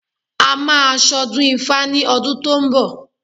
A máa ṣ'ọdún ifá ní ọdún tó ń bọ̀